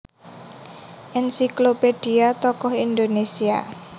Ensiklophedia Tokoh Indonésia